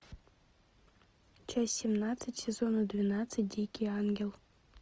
часть семнадцать сезона двенадцать дикий ангел